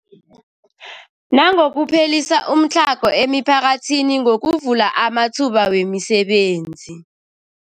Nangokuphelisa umtlhago emiphakathini ngokuvula amathuba wemisebenzi.